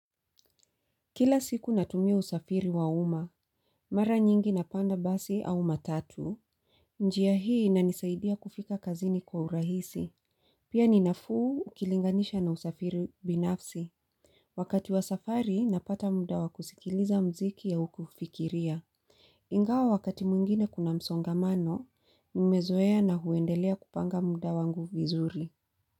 Kila siku natumia usafiri wa umma. Mara nyingi napanda basi au matatu. Njia hii inanisaidia kufika kazini kwa urahisi. Pia ninafuu ukilinganisha na usafiri binafsi. Wakati wa safari napata muda wa kusikiliza mziki au kufikiria. Ingawa wakati mwingine kuna msongamano nimezoea na huendelea kupanga muda wangu vizuri Muzika.